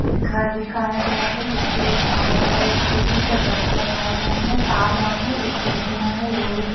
एक घर दिखाया गया है जिसके बाहर पर एक ए_सी का डक्ट लगाए गए हैं। तार वार है। एक खिड़कियां है लोहे के।